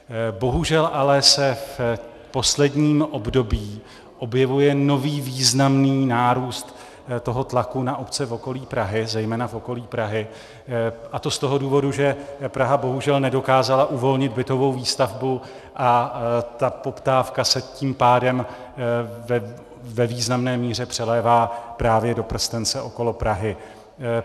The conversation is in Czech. Bohužel ale se v posledním období objevuje nový významný nárůst toho tlaku na obce v okolí Prahy, zejména v okolí Prahy, a to z toho důvodu, že Praha bohužel nedokázala uvolnit bytovou výstavbu, a ta poptávka se tím pádem ve významné míře přelévá právě do prstence okolo Prahy.